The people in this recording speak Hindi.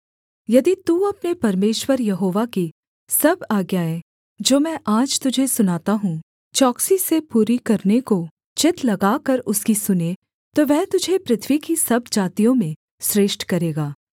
यदि तू अपने परमेश्वर यहोवा की सब आज्ञाएँ जो मैं आज तुझे सुनाता हूँ चौकसी से पूरी करने को चित्त लगाकर उसकी सुने तो वह तुझे पृथ्वी की सब जातियों में श्रेष्ठ करेगा